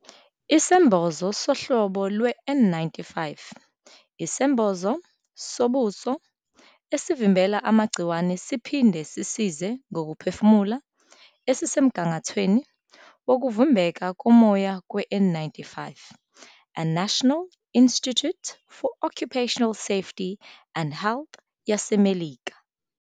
Isembozo sohlobo lwe- N95 isembozo zobuso esivimbela amagciwane siphinde sisize ngokuphefumula esisemgangathweni wokuvimbeka komoya kweN95 e- National Institute for Occupational Safety and Health yaseMelika.